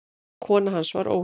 Kona hans var Ólöf